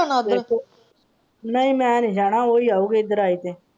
ਤੁਸੀਂ ਜਾਣਾ ਨਹੀਂ ਮੈਂ ਨਹੀਂ ਜਾਣਾ ਉਹ ਹੀ ਆਓ ਗਏ ਇੱਧਰ ਆਏ ਤੇ।